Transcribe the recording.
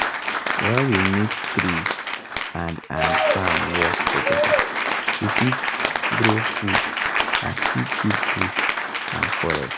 when we mix tree and and farm work together we fit grow food and still keep bush and forest.